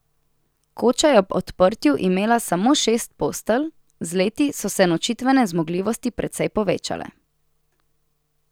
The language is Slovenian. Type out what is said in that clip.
Koča je ob odprtju imela samo šest postelj, z leti so se nočitvene zmogljivosti precej povečale.